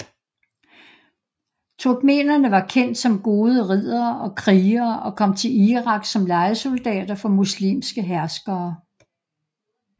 Turkmenere var kendt som gode riddere og krigere og kom til Irak som lejesoldater for muslimske herskere